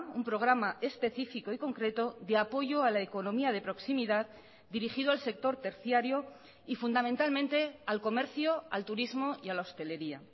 un programa específico y concreto de apoyo a la economía de proximidad dirigido al sector terciario y fundamentalmente al comercio al turismo y a la hosteleria